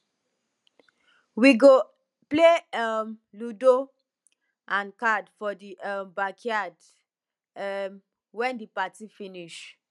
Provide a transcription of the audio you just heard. we go play um ludo and card for di um backyard um wen di party finish